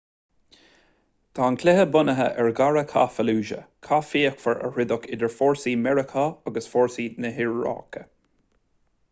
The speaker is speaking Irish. tá an cluiche bunaithe ar dhara cath fallujah cath fíochmhar a troideadh idir fórsaí mheiriceá agus fórsaí na hiaráice